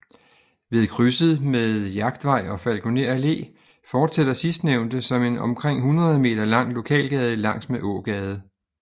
Ved krydset med Jagtvej og Falkoner Allé fortsætter sidstnævnte som en omkring hundrede meter lang lokalgade langs med Ågade